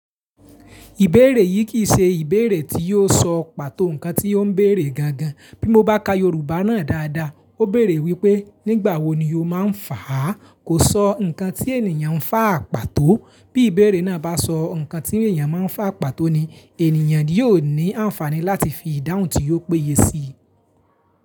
Ìbéèrè yìí kì í ṣe ìbéèrè tí yóò sọ pàtó ǹkan tí ó ń bèèrè gan gan. Bí mo bá ka Yorùbá náà dáadáa, ó béèrè wípé "nígbà wo ni o máa fàá?" Kò sọ ǹkan tí ènìyàn ń fà à pàtó. Bí ìbéèrè náà bá sọ ǹkan tí ènìyàn máa ń fà à pàtó ni, ènìyàn yóò ní àǹfààní láti fi ìdáhùn tí yóò péye sí i.